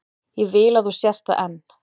Ég vil að þú sért það enn.